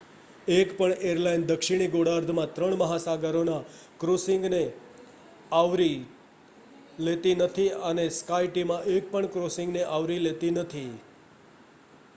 એકપણ એરલાઇન દક્ષિણી ગોળાર્ધમાં ત્રણ મહાસાગરોના ક્રૉસિંગને આવરી લેતી નથી અને સ્કાયટીમ એકપણ ક્રૉસિંગને આવરી લેતી નથી